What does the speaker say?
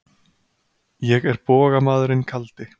Ég er bogamaðurinn kaldi.